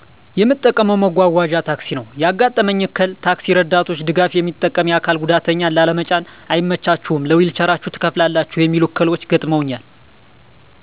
የምጠቀመው መጓጓዣ ታክሲ ነው ያጋጠመኝ እክል ታክሲ እርዳቶች ድጋፍ የሚጠቀም አካል ጉዳተኛን ላለመጫን አይመቻችሁም ለዊልቸራችሁ ትከፍላላችሁ የሚሉ እክሎች ገጥመውኛል።